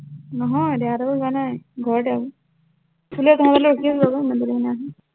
নহয়, দেহাহঁতৰ ঘৰলে যোৱা নাই, ঘৰতে আৰু হলেও তহঁতলৈ ৰখি আছিলো আকৌ, ইমান দেৰিলৈকে নাই অহা